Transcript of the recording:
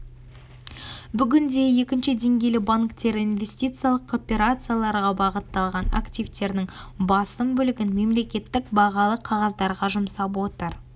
бүгінде екінші деңгейлі банктері инвестициялық операцияларға бағытталған активтерінің басым бөлігін мемлекеттік бағалы қағаздарға жұмсап отыр